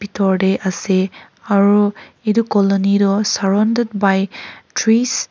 tor tae ase aro edu colony toh surrounded by trees .